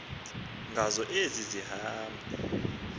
ngazo ezi hambo